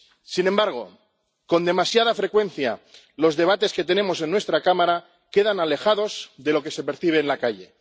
Sin embargo, con demasiada frecuencia los debates que tenemos en nuestra Cámara quedan alejados de lo que se percibe en la calle.